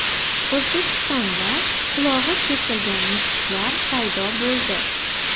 O‘zbekistonda qulog‘i kesilgan mushuklar paydo bo‘ldi.